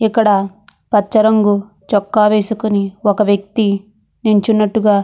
ఇక్కడ పచ్చ రంగు చొక్కా వేసుకొని ఒక వేక్తి నించున్నట్టు --